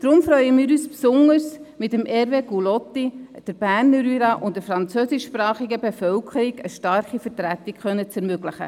Deshalb freuen wir uns besonders, dem Berner Jura und der französischsprachigen Bevölkerung mit Hervé Gullotti eine starke Vertretung zu ermöglichen.